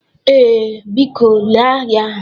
Ee, biko lee ya.